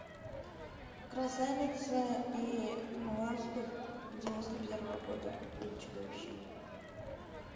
красавица и монстр девяносто первого года или чудовище